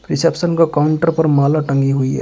Reception का counter पर माला टंगी हुई है।